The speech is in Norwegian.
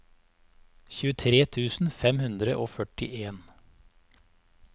tjuetre tusen fem hundre og førtien